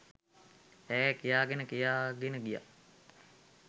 ඈ කියාගෙන කියාගෙන ගියා.